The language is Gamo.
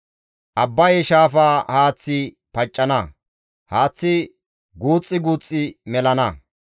Abbaye shaafa haaththi paccana; haaththi guuxxi guuxxi melana.